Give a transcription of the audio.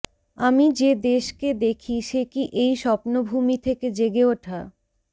আমি যে দেশকে দেখি সে কি এই স্বপ্নভূমি থেকে জেগে ওঠা